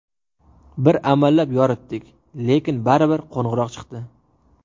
Bir amallab yoritdik, lekin baribir qorong‘iroq chiqdi.